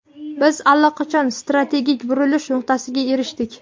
Biz allaqachon strategik burilish nuqtasiga erishdik.